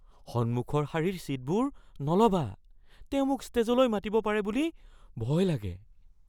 সন্মুখৰ শাৰীৰ ছীটবোৰ নল'বা। তেওঁ মোক ষ্টেজলৈ মাতিব পাৰে বুলি ভয় লাগে।